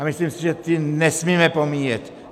A myslím si, že ty nesmíme pomíjet.